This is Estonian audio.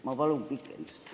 Ma palun lisaaega!